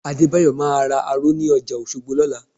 Adébáyọ̀ máa ra aró ní ọjà Òṣogbo lọ́la